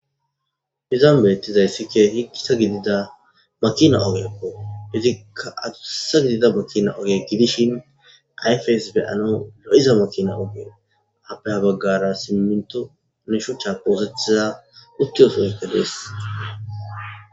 hizan beettizayssikke hikkisa gidida matina ogekko izikka atusa gidida makina oge gidishin ayfeys beyano lo7iza matina oge appeha baggara simminto neshucha poosetiza uttiyosoykkelees